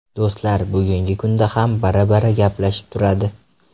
Do‘stlar bugungi kunda ham bir-biri gaplashib turadi.